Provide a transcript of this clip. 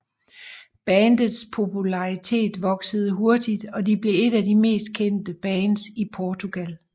Bandets popularitet voksede hurtigt og de blev et af de mest kendte bands i Portugal